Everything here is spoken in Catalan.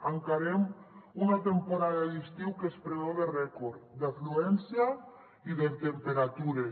encarem una temporada d’estiu que es preveu de rècord d’afluència i de temperatures